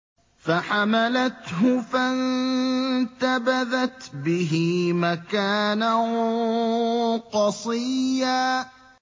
۞ فَحَمَلَتْهُ فَانتَبَذَتْ بِهِ مَكَانًا قَصِيًّا